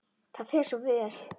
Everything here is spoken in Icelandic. Það fer þér svo vel.